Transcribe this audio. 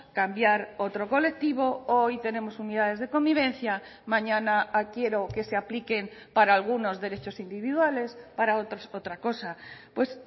cambiar otro colectivo hoy tenemos unidades de convivencia mañana quiero que se apliquen para algunos derechos individuales para otros otra cosa pues